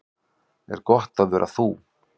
Er gott að vera þú?